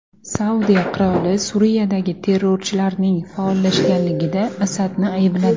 Saudiya qiroli Suriyadagi terrorchilarning faollashganligida Asadni aybladi.